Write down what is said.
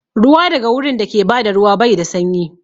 Ruwa daga wurin dake bada ruwa bai da sanyi